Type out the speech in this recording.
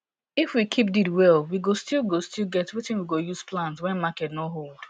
if we keep deed well we go still go still get wetin we go use plant wen market nor hold